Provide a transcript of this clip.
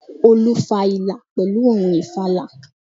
Olú fa ìlà pèlú ohun ìfàlà